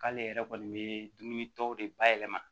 K'ale yɛrɛ kɔni bɛ dumuni tɔw de ba yɛlɛma